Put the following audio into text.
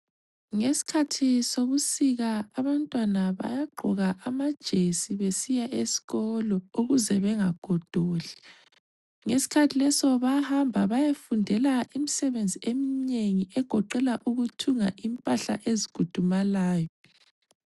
Ngesikhathi sobusika abantwana bayagqoka amajesi besiya esikolo ukuze bengagodoli. Ngesikhathi leso bayahamba bayefundela imisebenzi eminengi egoqela ukuthunga impahla ezikhudumalayo.